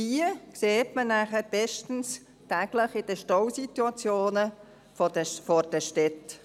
Diese sieht man dann bestens – täglich in den Staus vor den Städten.